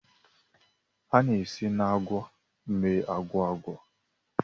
A na-esi na agwa mee agwa agwa.